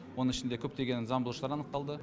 оның ішінде көптеген заңбұзушылар анықталды